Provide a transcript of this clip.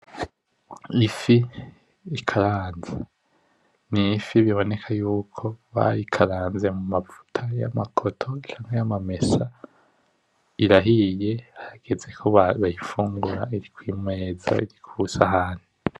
Ni ifi ikaranze, ni ifi biboneka yuko bayikaranze mumavuta yama koto canke yamamesa. Irahiye, harageze ko barura, bayifungura, iri ku meza, iri ku sahani.